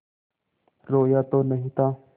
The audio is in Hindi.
रोया तो नहीं था